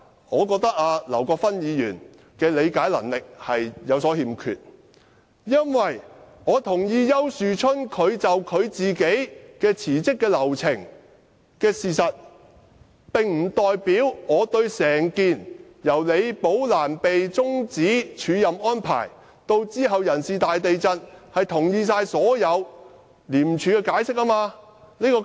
我覺得劉議員的理解能力有所欠缺，因為我同意丘樹春的辭職流程這個事實，並不代表我也同意廉署終止李寶蘭署任安排及其後的人事"大地震"作出的所有解釋。